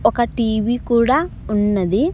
ఒక టీ_వీ కూడా ఉన్నది.